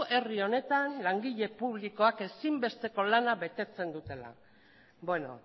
herri honetan langile publikoak ezinbesteko lana betetzen dutela beno